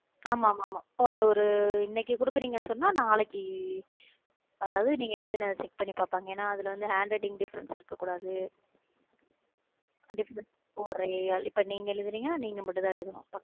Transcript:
ஆமா ஆமா ஒரு ஒரு இன்னைக்கு குடுக்கறீங்கன்னு சொன்னா நாளைக்கு அதாவது, நீங்க எழுதின பண்ணி பாப்பாங்க. ஏன்னா அதுல வந்து handwriting difference இருக்கக் கூடாது இப்ப நீங்க எழுதுனீங்கன்னா, நீங்க மட்டும்தான் எழுதணும்.